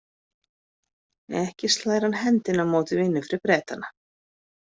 Ekki slær hann hendinni á móti vinnu fyrir Bretana.